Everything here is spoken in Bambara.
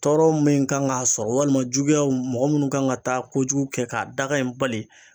Tɔɔrɔ min kan k'a sɔrɔ walima juguyaw mɔgɔ munnu kan ga taa kojugu kɛ k'a dakan in bali